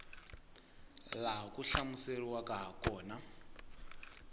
laha swi hlamuseriweke ha kona